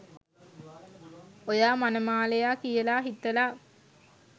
ඔයා මනමාලයා කියලා හිතලා